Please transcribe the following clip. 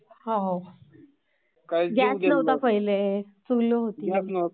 होव...गॅस नव्हता पहिले....चुल होती.... Voice overlapping